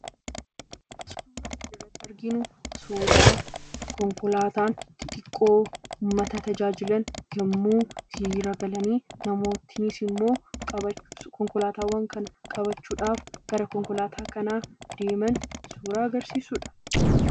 Asirratti kan arginu suuraa konkolaataa xiqqoon uummata tajaajilan hiriira galanii namootiinis immoo konkolaataawwan kana qabachuuf gara konkolaataa kanaa yommuu deeman suuraa agarsiisudha.